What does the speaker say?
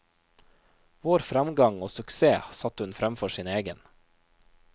Vår fremgang og suksess satte hun fremfor sin egen.